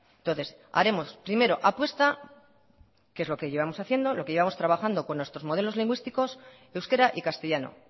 entonces haremos primero apuesta que es lo que llevamos haciendo lo que llevamos trabajando con nuestros modelos lingüísticos euskera y castellano